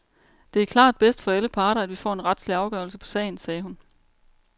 Det er klart bedst for alle parter at vi får en retslig afgørelse på sagen, sagde hun.